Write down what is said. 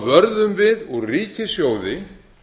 vörðum við úr ríkissjóði